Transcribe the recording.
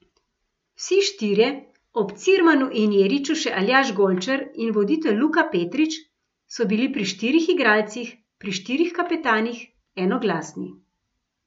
Vsi štirje, ob Cirmanu in Jeriču še Aljaž Golčer in voditelj Luka Petrič, so bili pri štirih igralcih, pri štirih kapetanih, enoglasni.